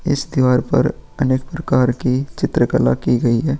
इस दीवार पर अनेक प्रकार की चित्रकला की गई है।